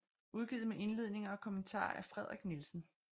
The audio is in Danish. Udgivet med Indledninger og Kommentarer af Frederik Nielsen